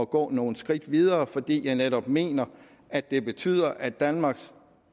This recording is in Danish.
gå nogle skridt videre fordi jeg netop mener at det betyder at danmarks